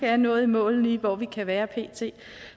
er nået i mål lige hvor vi kan være pt